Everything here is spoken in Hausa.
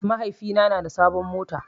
Mahaifina na da sabon mota